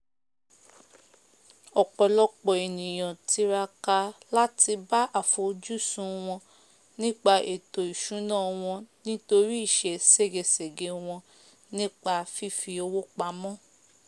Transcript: ọ̀pọ̀lọpọ̀ ènìyàn tiraka láti bá àfojúsùn wọn nípa ètò ìsúná wọn nítorí ìse ségesège wọ́n nípa fífi owó pamọ́